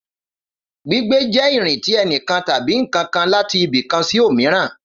Gbígbé jẹ irin ti ẹnikan tabi nkankan lati ibi kan si omiran